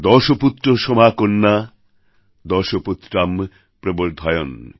দশপুত্র সমাকন্যা দশপুত্রাম প্রবর্ধয়ন্